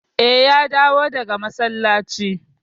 Eh, ya dawo daga masallaci.